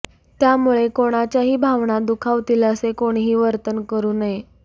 त्यामुळे कोणाच्याही भावना दुखावतील असे कोणीही वर्तन करू नये